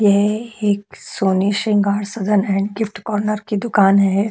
यह एक सोने Shringar Sadan and gift corner की दुकान है।